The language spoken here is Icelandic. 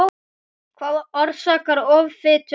Hvað orsakar offitu barna?